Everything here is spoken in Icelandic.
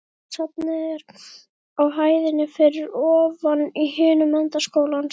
Bókasafnið er á hæðinni fyrir ofan í hinum enda skólans.